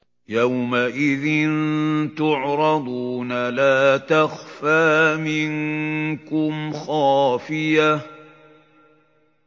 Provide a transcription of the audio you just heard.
يَوْمَئِذٍ تُعْرَضُونَ لَا تَخْفَىٰ مِنكُمْ خَافِيَةٌ